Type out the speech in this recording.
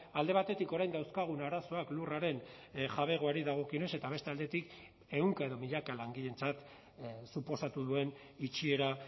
alde batetik orain dauzkagun arazoak lurraren jabegoari dagokionez eta beste aldetik ehunka edo milaka langileentzat suposatu duen itxiera